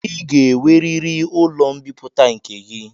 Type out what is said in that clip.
Ị ga-enweriri ụlọ mbipụta nke gị!